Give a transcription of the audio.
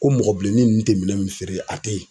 Ko mɔgɔ bilenni ninnu tɛ minɛn feere a tɛ ye.